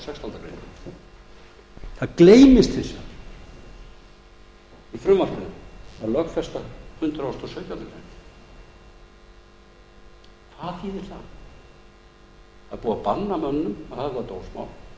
grein það gleymist hins vegar í frumvarpinu að lögfesta hundrað og sautjándu grein hvað þýðir það það er búið að banna mönnum að höfða dómsmál það